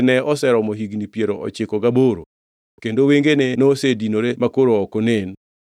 ne oseromo higni piero ochiko gaboro kendo wengene nosedinore makoro ok onen.